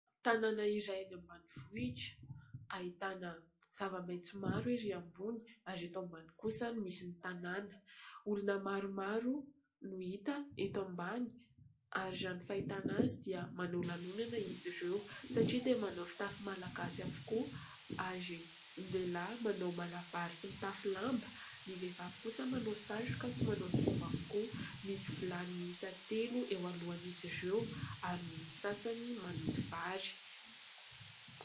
Tanàna iray any ambanivohitra ahitana zava-maitso maro ery ambony ary eto ambany kosa no misy ny tanàna. Olona maromaro no hita eto ambany ary raha ny fahitana azy dia manao lanonana izy ireo satria dia manao fitafy malagasy avokoa ary ny lehilahy manao malabary sy mitafy lamba, ny vehivavy kosa manao satroka sy manao zipo avokoa. Misy vilany miisa telo eo alohan'izy ireo ary ny sasany manoto vary.